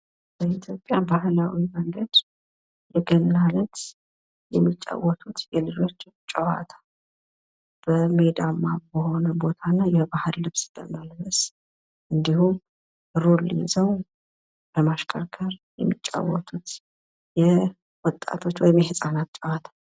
በኢትዮጵያ ባህላዊ መንገድ የገና ዕለት የሚጫወቱት የልጆች ጨዋታ። በሜዳማ በሆነ ቦታ እና የባህል ልብስ በመልበስ እንዲሁም ሩር ይዘው በማሽከርከር የሚጫወቱት የወጣቶች ወይም የህፃናት ጨዋታ።